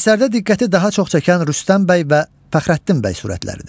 Əsərdə diqqəti daha çox çəkən Rüstəm bəy və Fəxrəddin bəy sürətləridir.